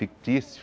Fictício.